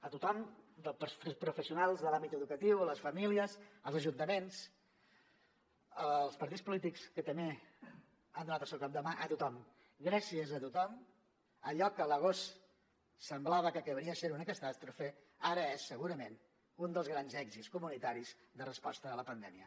a tothom als professionals de l’àmbit educatiu a les famílies als ajuntaments als partits polítics que també han donat el seu cop de mà a tothom gràcies a tothom allò que a l’agost semblava que acabaria sent una catàstrofe ara és segurament un dels grans èxits comunitaris de resposta a la pandèmia